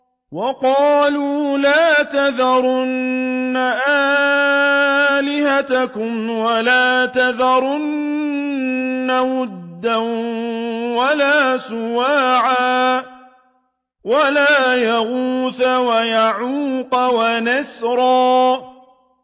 وَقَالُوا لَا تَذَرُنَّ آلِهَتَكُمْ وَلَا تَذَرُنَّ وَدًّا وَلَا سُوَاعًا وَلَا يَغُوثَ وَيَعُوقَ وَنَسْرًا